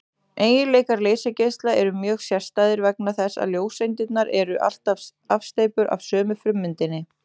Eiginleikar leysigeisla eru mjög sérstæðir vegna þess að ljóseindirnar eru allar afsteypur af sömu frummyndinni.